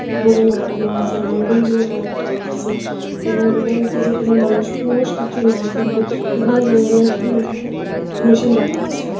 উপরে লকটানো আসে এবং বেন্টিলেটর একটানো আসে এবং দেখা যাচ্ছে যে কোনো মানুষ পুনুষ কিছু নাই কিন্তু বিভিন্ন ধরনের উম অ্যা মেশিন রাখা আছে।